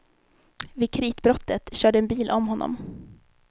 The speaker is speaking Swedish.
Vid kritbrottet körde en bil om honom.